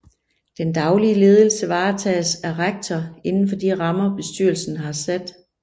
Den daglige ledelse varetages af rektor inden for de rammer bestyrelsen har sat